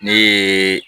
Ne ye